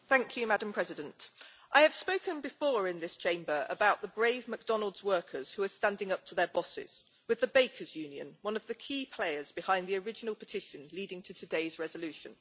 Madam President, I have spoken before in this Chamber about the brave McDonald's workers who are standing up to their bosses with the Bakers Union, one of the key players behind the original petition leading to today's resolution.